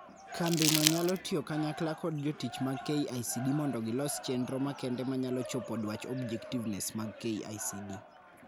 Kambi no nyalo tiyo kanyakla kod jotich mag KICD mondo gilos chendro makende manyalo chopo dwach objectives mag KICD.